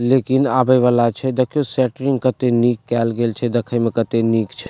लेकिन आवे वाला छै देखियों शटरिंग कते निक केएल गेल छै देखे में केते निक छै।